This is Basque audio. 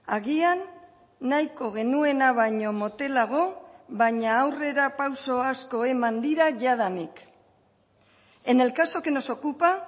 agian nahiko genuena baino motelago baina aurrerapauso asko eman dira jadanik en el caso que nos ocupa